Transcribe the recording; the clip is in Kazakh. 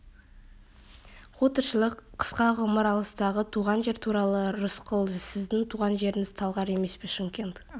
қу тіршілік қысқа ғұмыр алыстағы туған жер туралы рысқұл сіздің туған жеріңіз талғар емес пе шымкент